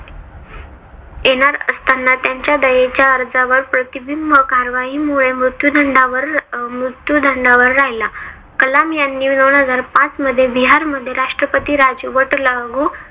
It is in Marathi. येणार असताना त्यांचे दयेच्या अर्जावर प्रतिबिंब कारवाई मुळे मृत्यूदंडावर मृत्यूदंडावर मृत्युदंडावर राहिला. कलाम यांनी दोन हजार पाचमध्ये बिहारमध्ये राष्ट्रपती राजवट लागू